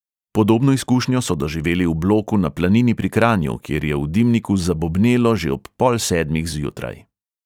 Podobno izkušnjo so doživeli v bloku na planini pri kranju, kjer je v dimniku zabobnelo že ob pol sedmih zjutraj.